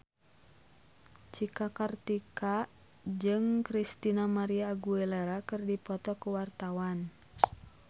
Cika Kartika jeung Christina María Aguilera keur dipoto ku wartawan